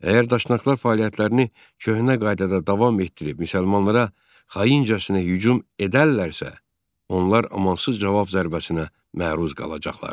Əgər daşnaqlar fəaliyyətlərini köhnə qaydada davam etdirib müsəlmanlara xaincəsinə hücum edərlərsə, onlar amansız cavab zərbəsinə məruz qalacaqlar.